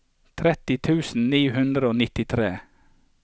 tretti tusen ni hundre og nittitre